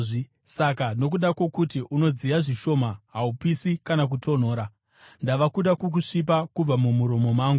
Saka nokuda kwokuti unodziya zvishoma, haupisi kana kutonhora, ndava kuda kukusvipa kubva mumuromo mangu.